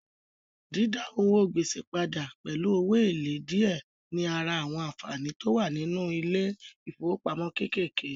Dídá owó gbèsè padà pẹ̀lú owó èlé díẹ̀ ní ara àwọn ànfàní tó wà nínú ilé ìfowópamọ́ kékèké